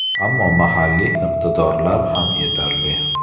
Ammo mahalliy iqtidorlar ham yetarli.